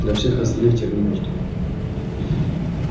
для всех остальных терминус дом